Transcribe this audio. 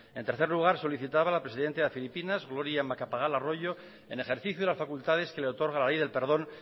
en tercer lugar solicitaba la presidenta de filipinas gloria macapagal arroyo en ejercicio de las facultades que le otorga la ley del perdón